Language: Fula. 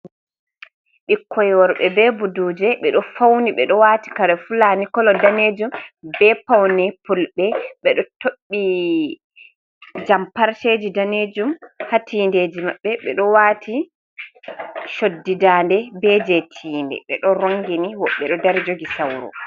Ɓikkoy worɓe be buduje, ɓe ɗo fawni ,ɓe ɗo waati kare Fulani. Kola daneejum be pawne Fulɓe. Ɓe ɗo toɓɓi jam parceji daneejum haa tiiɗeji maɓɓe .Ɓe ɗo waati coddi daande, be jey tiinde ,ɓe ɗo ronngini woɓɓe ɗo dari jogi sawro.